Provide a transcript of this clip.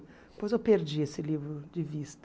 Depois eu perdi esse livro de vista.